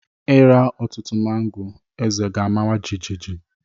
Ịra ọtụtụ mango, eze gi amawa jijiji